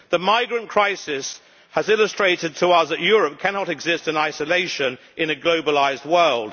The migrant crisis has illustrated to us that Europe cannot exist in isolation in a globalised world.